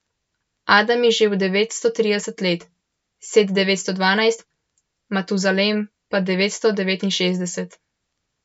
Adam je živel devetsto trideset let, Set devetsto dvanajst, Matuzalem pa devetsto devetinšestdeset.